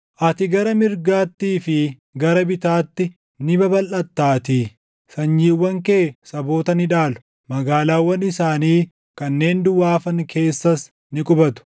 Ati gara mirgaattii fi gara bitaatti ni babalʼattaatii; sanyiiwwan kee saboota ni dhaalu; magaalaawwan isaanii kanneen duwwaa hafan keessas ni qubatu.